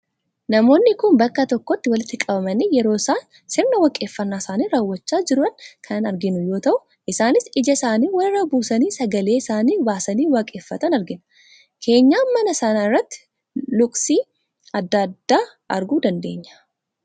Namoonni kun bakka tokkotti walitti qabamanii yeroo isaan sirna waaqeffannaa isaanii raawwachaa jiran kan arginu yoo ta'u, isaanis ija isaanii walirra buusanii, sagalee isaanii baasanii waaqeffatan argina. Keenyaan mana sanaa irrattis luqqisii adda addaa arguu dandeenya.